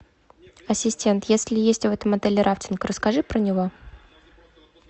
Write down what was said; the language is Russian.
ассистент если есть в этом отеле рафтинг расскажи про него